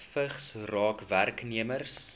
vigs raak werknemers